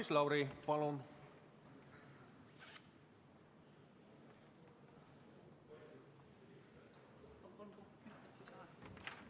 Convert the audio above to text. Maris Lauri, palun!